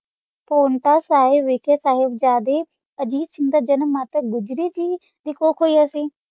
ਹੋਣ ਤਾ ਵਾਖਾ ਸੀ ਸਾਹਿਬ ਜ਼ਯਾਦੀ ਆਸ ਵਾਸਤਾ ਅਨਾ ਦਾ ਨਾਮੇ ਸੋੰਦਾਰੀ ਸੀ ਕੁ ਕਾ ਕੋਈ ਅਸੀਂ